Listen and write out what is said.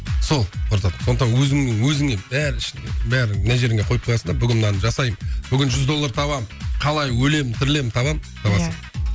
сол құртады сондықтан өзіңнің өзіңе бәрін ішіне бәрін мына жеріңе қойып қоясың да бүгін мынаны жасаймын бүгін жүз доллар табамын қалай өлем тірілем табам табасың